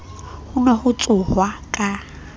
ho ne ho tsohwa ka